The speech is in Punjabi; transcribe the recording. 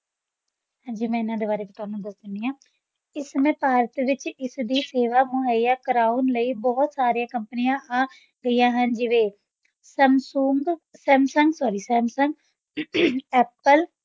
ਹਾਂਜੀ ਮੈਂ ਇਹਨਾਂ ਦੇ ਬਾਰੇ ਤੁਹਾਨੂੰ ਦੱਸ ਦਿੰਦੀ ਹਾਂ, ਇਸ ਸਮੇਂ ਭਾਰਤ ਵਿੱਚ ਇਸ ਦੀ ਸੇਵਾ ਮੁਹੱਈਆ ਕਰਾਉਣ ਲਈ ਬਹੁਤ ਸਾਰੀਆਂ ਕੰਪਨੀਆਂ ਆ ਗਈਆਂ ਹਨ, ਜਿਵੇਂ, Samsung, Samsung sorry Samsung Apple